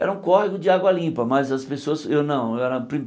Era um córrego de água limpa, mas as pessoas... Eu não. Eu era